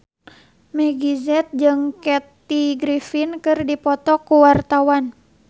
Meggie Z jeung Kathy Griffin keur dipoto ku wartawan